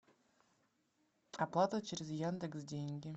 оплата через яндекс деньги